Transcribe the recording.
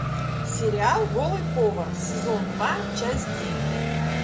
сериал голый повар сезон два часть девять